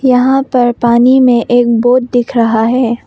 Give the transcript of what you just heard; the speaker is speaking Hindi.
यहां पर पानी में एक बोट दिख रहा है।